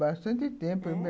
Bastante tempo...